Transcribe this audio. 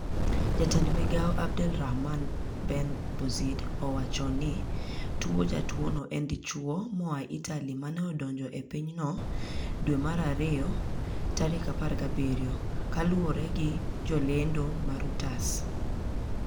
Jatend migao Abdel Rahman Ben Bouzid owachoni tuojatuono en dichwomoa Itali mane odonjo epinyno Februari 17, kaluoregi jolendo ma Reuters.